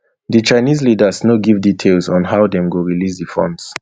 di chinese leaders no give details on how dem go release di funds